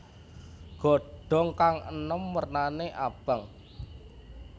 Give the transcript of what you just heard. Godhong kang enom wernane abang